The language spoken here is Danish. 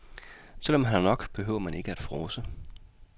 Selv om man har nok, behøver man ikke at frådse.